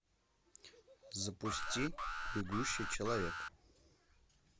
запусти бегущий человек